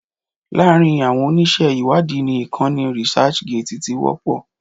Láàrin àwọn oníṣẹ́ ìwádìí ni ìkànnì researchgate ti wọ́pọ̀